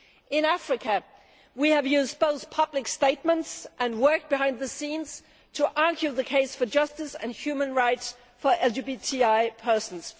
In Africa, we have used both public statements and work behind the scenes to argue the case for justice and human rights for LGBTI persons.